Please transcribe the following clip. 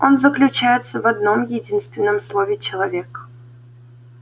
он заключается в одном-единственном слове человек